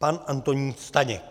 Pan Antonín Staněk.